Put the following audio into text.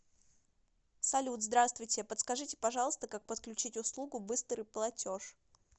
салют здавствуйте подскажите пожалуйста как подключить услугу быстрый платеж